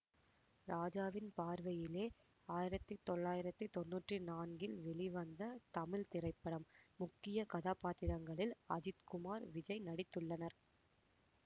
ராஜாவின் பார்வையிலே ஆயிரத்தி தொள்ளாயிரத்தி தொன்னூற்றி நான்கில் வெளிவந்த தமிழ் திரைப்படம் முக்கிய கதாப்பாத்திரங்களில் அஜித் குமார் விஜய் நடித்துள்ளனர்